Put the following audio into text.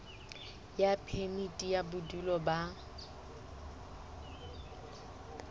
ya phemiti ya bodulo ba